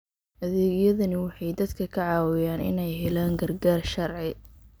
Adeegyadani waxay dadka ka caawiyaan inay helaan gargaar sharci.